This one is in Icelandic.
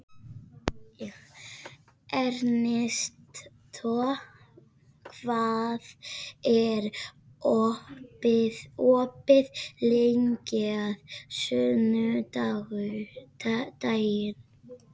Ernestó, hvað er opið lengi á sunnudaginn?